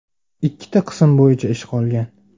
Ikkita qism bo‘yicha ish qolgan.